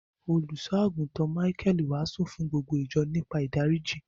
Òlúsọ̀agùntán Míchael wáásù fún gbogbo ìjọ̀ nípa ìdáriji.